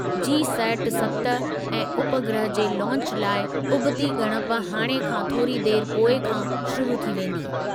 GSAT सत A उपग्रह जे लॉन्च लाइ उबती ॻणप हाणे खां थोरी देर पोइ खां शुरू थी वेंदी।